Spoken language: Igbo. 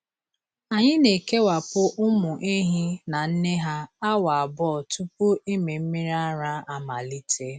Anyị na-ekewapụ ụmụ ehi na nne ha awa abụọ tupu ịmị mmiri ara amalite.